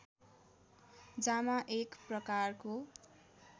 जामा एक प्रकारको